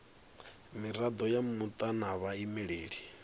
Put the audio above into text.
mirado ya muta na vhaimeleli